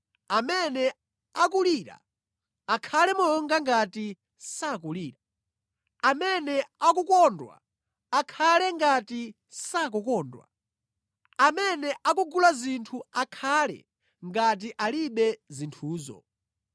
Amene akulira akhale monga ngati sakulira. Amene akukondwa akhale ngati sakukondwa. Amene akugula zinthu akhale ngati alibe zinthuzo.